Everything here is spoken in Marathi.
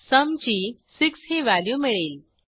सुम ची 6 ही व्हॅल्यू मिळेल